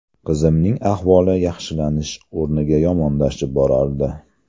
Qizimning ahvoli yaxshilanish o‘rniga yomonlashib borardi.